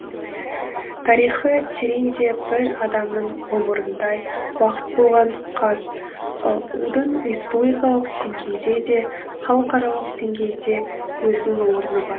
тарихы тереңде бір адамның ғұмырындай уақыт болған қазұу дың республикалық деңгейде де халықарлық деңгейде өзінің орны бар